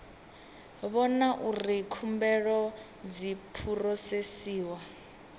vhona uri khumbelo dzi phurosesiwa